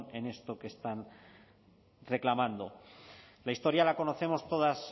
en esto que están reclamando la historia la conocemos todas